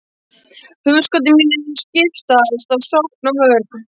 hugskoti mínu skiptast á sókn og vörn.